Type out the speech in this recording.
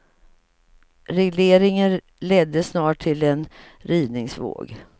Regleringen ledde snart till en rivningsvåg.